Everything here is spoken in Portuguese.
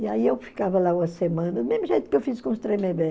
E aí eu ficava lá uma semana, do mesmo jeito que eu fiz com os Tremembé.